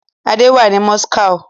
Adé wà ní Moscow.